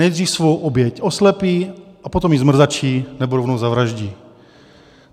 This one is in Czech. Nejdřív svou oběť oslepí, a potom ji zmrzačí nebo rovnou zavraždí.